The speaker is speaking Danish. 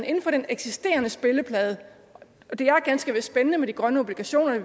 inden for den eksisterende spilleplade det er ganske vist spændende med de grønne obligationer